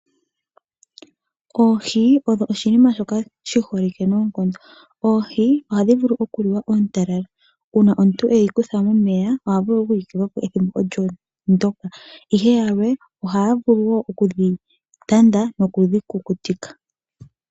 Oohi odho oshinima shoka shi holike noonkondo, oohi ohadhi vulu okuliwa oontalala uuna omuntu eyi kutha momeya oha vulu okuyi tula po ethimbo olyo ndyoka, ihe yamwe ohaya vulu wo okudhi tanda nokudhi kukutika.